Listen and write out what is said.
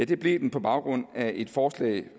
det blev den på baggrund af et forslag